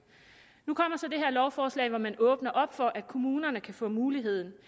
nu kommer så det her lovforslag hvor man åbner for at kommunerne kan få mulighed